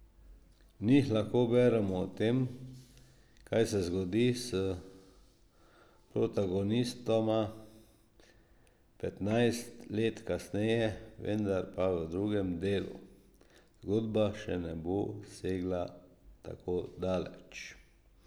V njih lahko beremo o tem, kaj se zgodi s protagonistoma petnajst let kasneje, vendar pa v drugem delu zgodba še ne bo segla tako daleč.